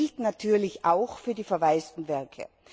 Das gilt natürlich auch für die verwaisten Werke.